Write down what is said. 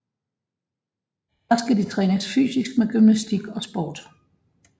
Først skal de trænes fysisk med gymnastik og sport